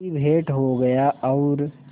की भेंट हो गया और